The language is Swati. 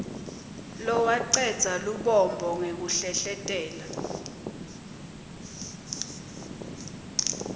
lowacedza lubombo ngekuhlehletela